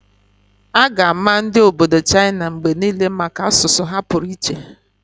A ga-ama ndi obodo China mgbe niile maka asụsụ ha pụrụ iche.